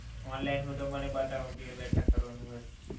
online હોય તો મને બતાવો કાઇ બેઠક કરવાની હોય તો.